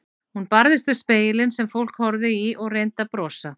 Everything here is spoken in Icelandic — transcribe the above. Hún barðist við spegilinn sem fólk horfði í og reyndi að brosa.